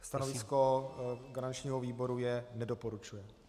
Stanovisko garančního výboru je: nedoporučuje.